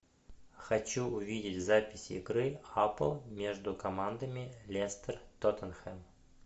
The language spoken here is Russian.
хочу увидеть запись игры апл между командами лестер тоттенхэм